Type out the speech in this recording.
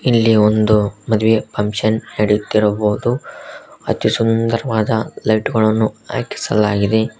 ಇಲ್ಲಿ ಒಂದು ಮದುವೆ ಫಂಕ್ಷನ್ ನಡೆಯುತ್ತಿರಬಹುದು ಅತೀ ಸುಂದರವಾದ ಲೈಟ್ ಗಳನ್ನು ಹಾಕಿಸಲಾಗಿದೆ.